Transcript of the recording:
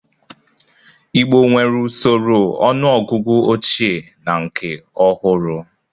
Igbo nwere usoro ọnụọgụgụ ochie na nke ọhụrụ.